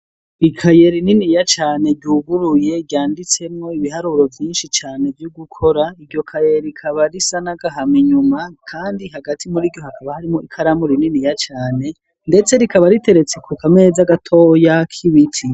Ikayere ininiya cyane ryuguruye ryanditsemwo ibiharuro byinshi cane byo gukora iryo kaye rikaba risanagahama inyuma kandi hagati muri iryo hakaba harimo ikaramu rininiya cane ndetse rikaba riteretse ku kamezi agatoo ya kiwiti.